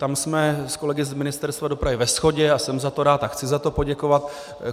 Tam jsme s kolegy z Ministerstva dopravy ve shodě a jsem za to rád a chci za to poděkovat.